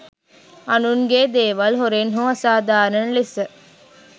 අනුන්ගේ දේවල් හොරෙන් හෝ අසාධාරණ ලෙස